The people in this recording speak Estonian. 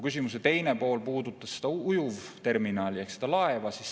Küsimuse teine pool puudutas ujuvterminali ehk seda laeva.